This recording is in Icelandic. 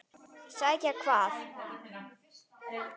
Sækja hvað?